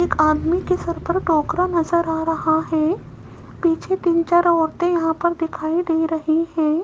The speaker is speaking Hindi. एक आदमी के सर पर टोकरा नजर आ रहा है पीछे तीन चार औरतें यहां पर दिखाई दे रही हैं।